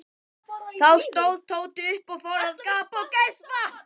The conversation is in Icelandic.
Þá stóð Tóti upp og fór að gapa og geispa.